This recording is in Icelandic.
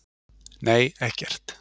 Nei, ekkert.